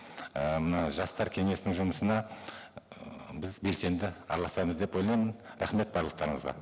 і мына жастар кеңесінің жұмысына біз белсенді араласамыз деп ойлаймын рахмет барлықтарыңызға